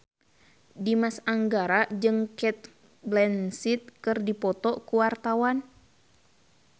Dimas Anggara jeung Cate Blanchett keur dipoto ku wartawan